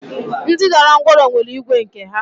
Ndị dara ńgwọrọ nwere igwe nke ha?